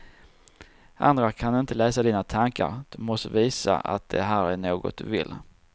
Andra kan inte läsa dina tankar, du måste visa att det här är något du vill.